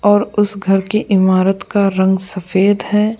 और उस घर के इमारत का रंग सफेद है।